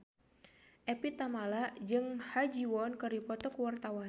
Evie Tamala jeung Ha Ji Won keur dipoto ku wartawan